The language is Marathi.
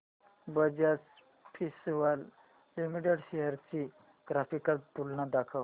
बजाज फिंसर्व लिमिटेड शेअर्स ची ग्राफिकल तुलना दाखव